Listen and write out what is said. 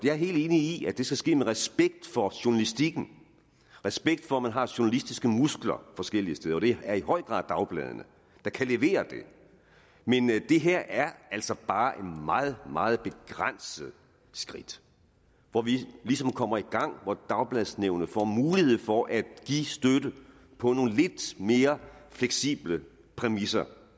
er helt enig i at det skal ske med respekt for journalistikken respekt for at man har journalistiske muskler forskellige steder og det er i høj grad dagbladene der kan levere det men det her er altså bare et meget meget begrænset skridt hvor vi ligesom kommer i gang hvor dagbladsnævnet får mulighed for at give støtte på nogle lidt mere fleksible præmisser